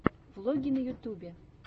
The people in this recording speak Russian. влоги на ютубе